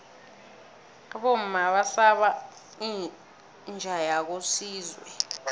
abomma basaba inja yakosizwe